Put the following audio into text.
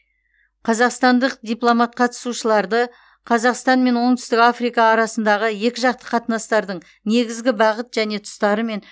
қазақстандық дипломат қатысушыларды қазақстан мен оңтүстік африка арасындағы екіжақты қатынастардың негізгі бағыт және тұстарымен